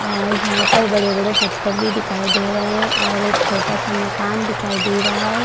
और यहाँ पर बड़े-बड़े पत्थर भी दिखाई दे रहे है और एक छोटा-सा मकान दिखाई दे रहा है।